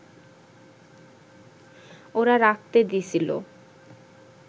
ওরা রাখতে দিছিল